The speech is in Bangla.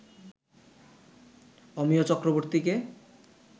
অমিয় চক্রবর্তীকে